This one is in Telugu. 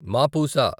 మాపూసా